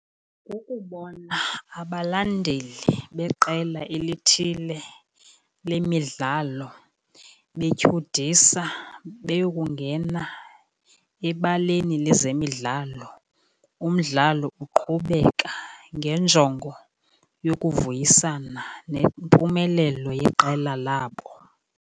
Kukubona abalandeli beqela elithile lemidlalo betyhudisa beyokungena ebaleni lezemidlalo umdlalo uqhubeka ngenjongo yokuvuyisana nempumelelo yeqela labo.